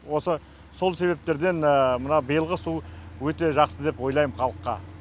осы сол себептерден мына биылғы су өте жақсы деп ойлаймын халыққа